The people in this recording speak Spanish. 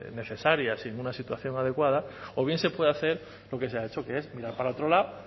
necesarias y en una situación adecuada o bien se puede hacer lo que se ha hecho que es mirar para otro lado